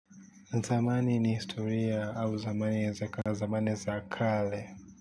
Natamani ni historia au zamani ya za kale, zamani za kale.